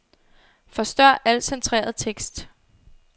Forstør al centreret tekst.